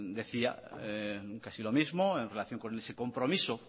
decía casi lo mismo en relación con su compromiso